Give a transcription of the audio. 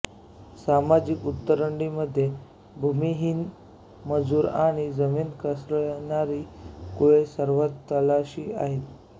सामाजिक उतरंडीमध्ये भूमिहीन मजूर आणि जमीन कसणारी कुळे सर्वात तळाशी होती